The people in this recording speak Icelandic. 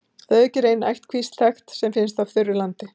Að auki er ein ættkvísl þekkt sem finnst á þurru landi.